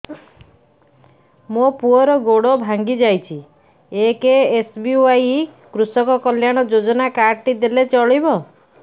ମୋ ପୁଅର ଗୋଡ଼ ଭାଙ୍ଗି ଯାଇଛି ଏ କେ.ଏସ୍.ବି.ୱାଇ କୃଷକ କଲ୍ୟାଣ ଯୋଜନା କାର୍ଡ ଟି ଦେଲେ ଚଳିବ